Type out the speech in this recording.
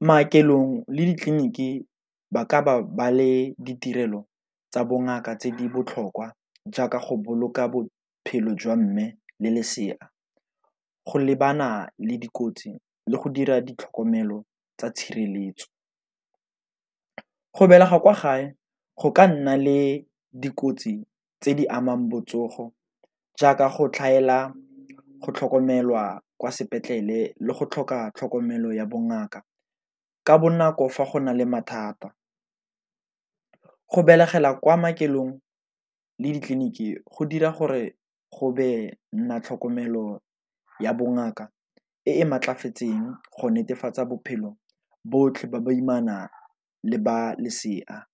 Maokelong le ditleliniki ba ka ba le ditirelo tsa bongaka tse di botlhokwa jaaka go boloka bophelo jwa mme le lesea, go lebana le dikotsi, le go dira di tlhokomelo tsa tshireletso. Go belega kwa gae go ka nna le dikotsi tse di amang botsogo jaaka go tlhaela go tlhokomelwa kwa sepetlele le go tlhoka tlhokomelo ya bongaka ka bonako fa go na le mathata, go begela kwa maokelong le ditleliniki go dira gore go be na tlhokomelo ya bongaka e maatlafatseng go netefatsa bophelo botlhe ba baimana le ba lesea.